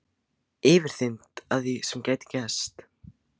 Yfirþyrmd af því sem gæti gerst.